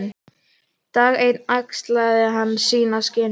Dag einn axlaði hann sín skinn.